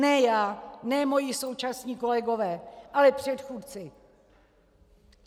Ne já, ne moji současní kolegové, ale předchůdci!